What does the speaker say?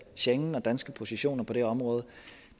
schengen og danske positioner på det område